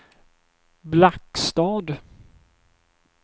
Blackstad